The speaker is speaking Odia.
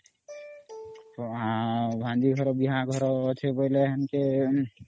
ଅମ୍ ଭାଣିଜ ଘର ବିହା ଘର ଅଛି ବେଲେ ହେଁ